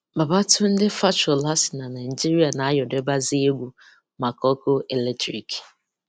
Babatunde Fashola sị na Naịjirịa na ayọrịbazi egwu maka ọ́kụ́ eletriki.